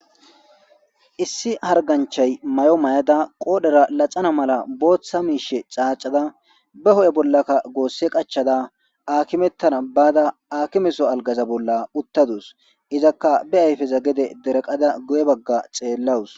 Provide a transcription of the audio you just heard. issi harganchay may7o mayada qoodhera laxana mala booththa miishe caacada be ho7e bollaka goosse qachada akimettana baada akimeso algaza bolla uttadus izakka be ayfeza gede deraqada guye bagga xeellawus.